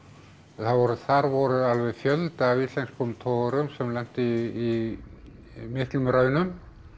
þar voru þar voru alveg fjöldi af íslenskum togurum sem lentu í miklum raunum